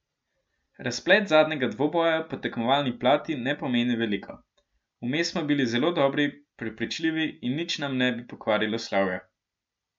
Razplet zadnjega dvoboja po tekmovalni plati ne pomeni veliko, vmes smo bili zelo dobri, prepričljivi in nič nam ne bi pokvarilo slavja.